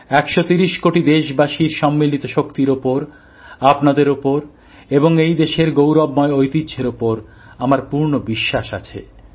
১৩০ কোটি দেশবাসীর সম্মিলিত শক্তির ওপর আপনাদের ওপর এবং এই দেশের গৌরবময় ঐতিহ্যের উপর আমার পূর্ণ বিশ্বাস আছে